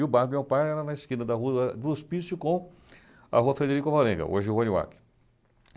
E o bar do meu pai era na esquina da Rua da do Hospício com a Rua Frederico Morenga, hoje Rua Niuaque.